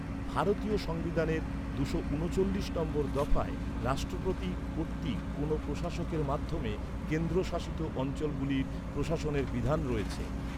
ভারতীয় সংবিধানের দুশো ঊনচল্লিশ নম্বর দফায় রাষ্ট্রপতি কর্তৃক কোনও প্রশাসকের মাধ্যমে কেন্দ্রশাসিত অঞ্চলগুলির প্রশাসনের বিধান রয়েছে।